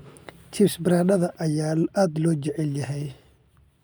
Chips baradhada ayaa aad loo jecel yahay.